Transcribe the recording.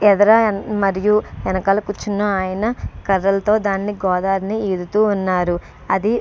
ఎదర మరియు వెనకాల కూర్చున్నాయన కర్రలతో దాన్ని గోదారిని ఈదుతూ ఉన్నారు. అది--